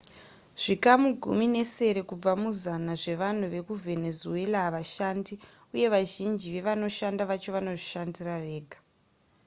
zvikamu gumi nesere kubva muzana zvevanhu vekuvenezuela havashandi uye vazhinji vevanoshanda vacho vanozvishandira vega